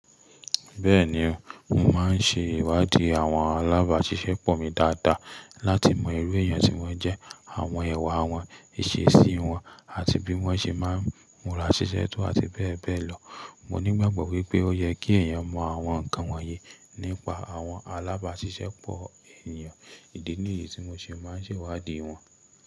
Bẹ́ẹ̀ni, mo máa ń ṣe ìwádìí àwọn alábàáṣiṣẹ́pọ̀ mi dáadáa láti mọ irú èèyàn tí wọ́n jẹ́, àwọn iwà wọn, ìṣesí wọn àti bí wọ́n ṣe máa ń múra ṣiṣẹ́ tó àti bẹ́ẹ̀ bẹ́ẹ̀ lọ. Mo nígbàgbọ́ wípé ó yẹ kí èèyàn mọ àwọn nǹkan wọ̀nyí nípa àwọn alábáṣiṣẹ́pọ̀ ènìyàn ìdí nìyí tí mo ṣe máa ń ṣe ìwádìí wọn.